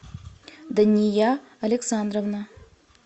дания александровна